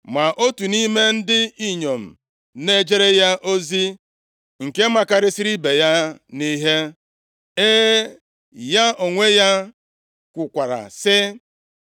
Ma otu nʼime ndị inyom na-ejere ya ozi, nke makarịsịrị ibe ya nʼihe. E, ya onwe ya kwukwara sị,